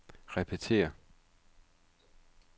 repetér